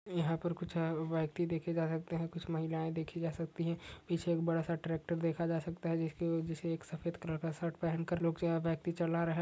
यहां पर कुछ व्यक्ति देखे जा सकते हैं कुछ महिलाएं देखी जा सकती हैं पीछे एक बड़ा सा ट्रैक्टर देखा जा सकता है जिसके ऊपर एक सफेद कलर का शर्ट पहनकर लोग जो हैं व्यक्ति चल रहा है।